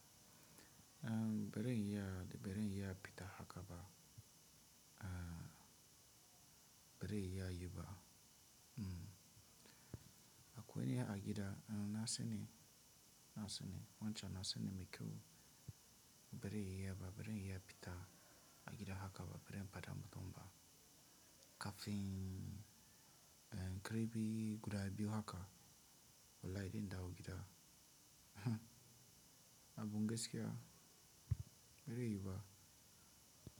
Eh, bari iya da bari iya fita haka ba. Eh bari iya yi ba. Hmm akwai ne a gida. Na sani, na sani wancan na sani mai kyau. Bari iya ba, bari iya fita a gida haka ba, bari an faɗa mutum ba. Kafin eh kere biyu guda biyu haka, wallahi idan ta wuce ta, abun gaskiya bari yi ba.